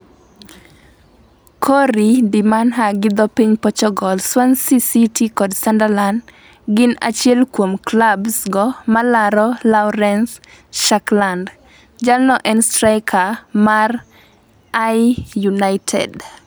(corriea de manha- gi dho piny Pochogol). Swansea City kod Sunderland gin achiel kuom klabs go malaro Lawrence Shakland. Jalno en straika mar Ayr United